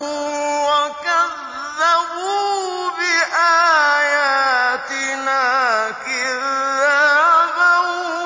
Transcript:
وَكَذَّبُوا بِآيَاتِنَا كِذَّابًا